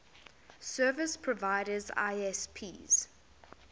service providers isps